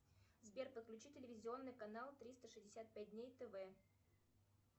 сбер подключи телевизионный канал триста шестьдесят пять дней тв